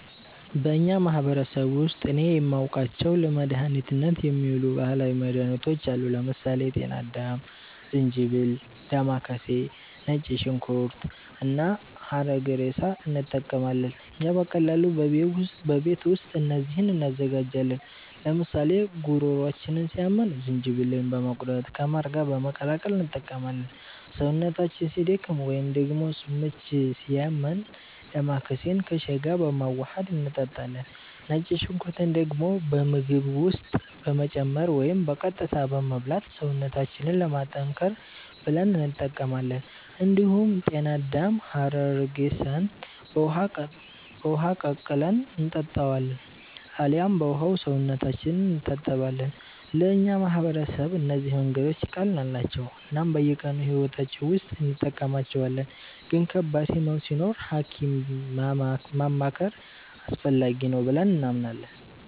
በእኛ ማህበረሰብ ውስጥ እኔ የማውቃቸው ለመድኃኒትነት የሚውሉ ባህላዊ መድኃኒቶች አሉ። ለምሳሌ ጤና አዳም፣ ዝንጅብል፣ ዴማከሴ፣ ነጭ ሽንኩርት እና ሐረግሬሳ እንጠቀማለን። እኛ በቀላሉ በቤት ውስጥ እነዚህን እንዘጋጃለን፤ ለምሳሌ ጉሮሯችንን ሲያመን ዝንጅብልን በመቁረጥ ከማር ጋር በመቀላቀል እንጠቀመዋለን። ሰውነታችን ሲደክም ወይንም ደግሞ ምች ሲያመን ዴማከሴን ከሻይ ጋር በማዋሀድ እንጠጣለን። ነጭ ሽንኩርትን ደግሞ በምግብ ውስጥ በመጨመር ወይም በቀጥታ በመብላት ሰውነታችንን ለማጠንከር ብለን እንጠቀማዋለን። እንዲሁም ጤና አዳምና ሐረግሬሳን በውሃ ቀቅለን እንጠጣቸዋለን አልያም በውሃው ሰውነታችንን እንታጠባለን። ለእኛ ማህበረሰብ እነዚህ መንገዶች ቀላል ናቸው እናም በየቀኑ ሕይወታችን ውስጥ እንጠቀማቸዋለን፤ ግን ከባድ ህመም ሲኖር ሀኪም ማማከር አስፈላጊ ነው ብለንም እናምናለን።